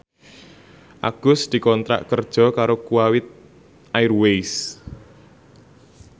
Agus dikontrak kerja karo Kuwait Airways